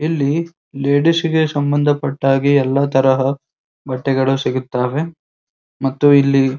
ಇಲ್ಲಿ ಲೇಡೀಸ್ ಗೆ ಸಂಬಂಧಪಟ್ಟ ಹಾಗೆ ಎಲ್ಲಾ ತರಹ ಬಟ್ಟೆಗಳು ಸಿಗುತ್ತವೆ ಮತ್ತು ಇಲ್ಲಿ --